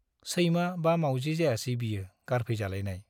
सैमा बा मावजि जायासै बियो गारफैजालायनाय ?